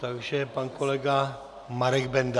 Takže pan kolega Marek Benda.